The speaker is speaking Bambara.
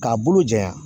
K'a bolo janya